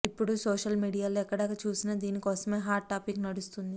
ఇప్పుడు సోషల్ మీడియాలో ఎక్కడ చూసిన దీని కోసమే హాట్ టాపిక్ నడుస్తుంది